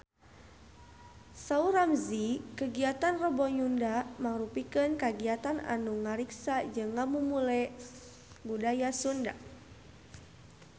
Saur Ramzy kagiatan Rebo Nyunda mangrupikeun kagiatan anu ngariksa jeung ngamumule budaya Sunda